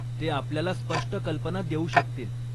ते आपल्याला स्पष्ट कल्पना देऊ शकतील.